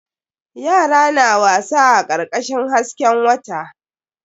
Yara na wasa a karkashin hasken wata.